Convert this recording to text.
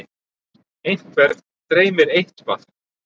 einhvern dreymir eitthvað